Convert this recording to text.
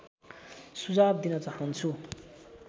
सुझाव दिन चाहन्छु